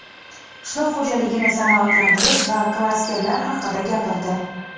qishloq xo‘jaligini sanoatlashtirish va klasterlar haqida gapirdi.